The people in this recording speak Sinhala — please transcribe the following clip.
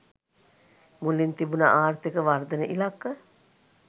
මුලින් තිබුණ ආර්ථික වර්ධන ඉලක්ක